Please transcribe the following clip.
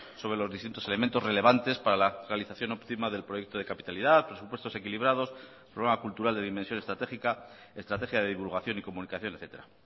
sobre los distintos elementos relevantes para la realización óptima del proyecto de capitalidad presupuestos equilibrados programa cultural de dimensión estratégica estrategia de divulgación y comunicación etcétera